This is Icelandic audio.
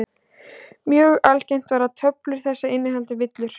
Mjög algengt var að töflur þessar innihéldu villur.